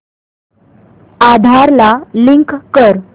आधार ला लिंक कर